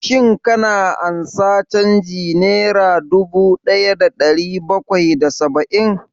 Shin ka ansa canjin nera dubu ɗaya da ɗari bakwai da saba'in?